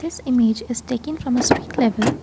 this image is taken from a streak level.